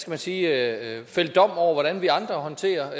man sige at fælde dom over hvordan vi andre håndterer